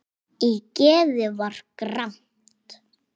Í geði var gramt.